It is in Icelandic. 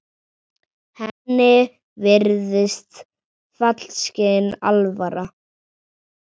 Henni virðist fyllsta alvara.